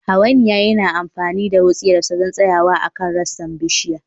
Hawainiya yana amfani da wutsiyarsa don tsayawa akan rassan bishiya